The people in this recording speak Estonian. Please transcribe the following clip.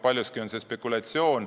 Paljuski on see kõik spekulatsioon.